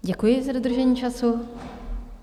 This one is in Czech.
Děkuji za dodržení času.